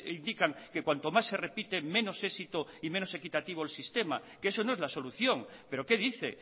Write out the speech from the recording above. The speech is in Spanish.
indican que cuanto más se repite menos éxito y menos equitativo el sistema que eso no es la solución pero qué dice